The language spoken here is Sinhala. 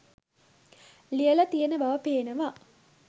ලියලා තියෙන බව පේනවා.